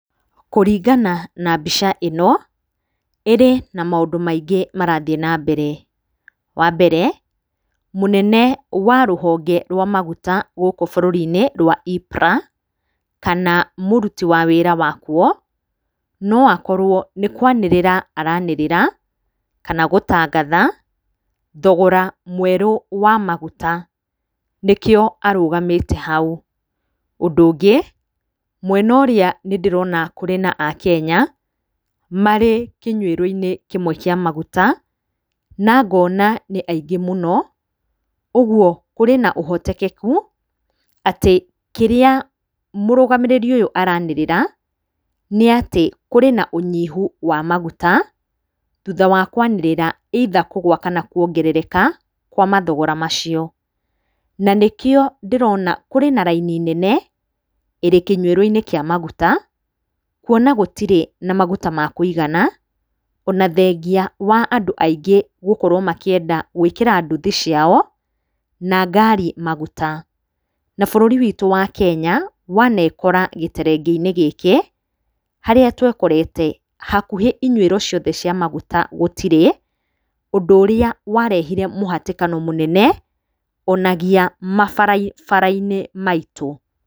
Kũringana na mbica ĩno, ĩrĩ na maũndũ maingĩ marathiĩ na mbere, wa mbere, mũnene wa rũhonge rwa maguta gũkũ bũrũri-inĩ rwa EPRA, kana mũruti wa wĩra wakuo, no akorwo nĩ kwanĩrĩra aranĩrĩra kana gũtangatha thogora mwe, rũ wa maguta, nĩkio arũgamĩte hau. Ũndũ ũngĩ mwena ũrĩa nĩ ndĩrona kwĩna akenya, marĩ kĩnyuĩro-inĩ kĩmwe kĩa maguta, na ngona nĩ aingĩ mũno, ũguo kũrĩ na ũhotekeku atĩ kĩrĩa mũrũgamĩrĩri ũyũ aranĩrĩra nĩ atĩ kũrĩ na ũnyihu wa maguta, thutha wa kwanĩrĩra either kũgũa kana kuongerereka kwa mathogora macio, na nĩkio ndĩrona kũrĩ na raini nene, ĩrĩ kĩnyuĩro-inĩ kĩa maguta, kuona gũtirĩ na maguta ma kũigana, o na thengia wa andũ aingĩ gũkorwo makĩenda gwĩkĩra nduthi ciao, na ngari maguta. Na bũrũri witũ wa Kenya, wanekora gĩterengeinĩ gĩkĩ harĩa twekorete hakuhĩ inyuĩro ciothe cia maguta gũtirĩ, ũndũ ũrĩa warehire mũhatĩkano mũnene, o na nginyagia mabarabara-inĩ maitũ.